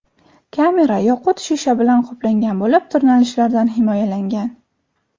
Kamera yoqut shisha bilan qoplangan bo‘lib, tirnalishlardan himoyalangan.